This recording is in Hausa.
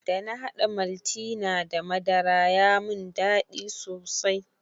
Dana haɗa maltina da madara ya mun dadi sosai.